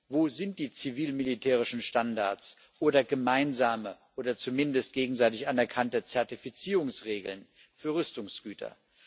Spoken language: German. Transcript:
Wo sind die zivil-militärischen Standards oder gemeinsame oder zumindest gegenseitig anerkannte Zertifizierungsregeln für Rüstungsgüter?